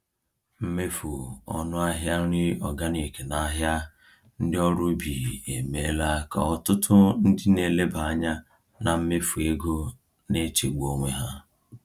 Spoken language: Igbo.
Mmefu ọnụ ahịa nri organic n’ahịa ndị ọrụ ubi emeela ka ọtụtụ ndị na-eleba anya na mmefu ego na-echegbu onwe ha.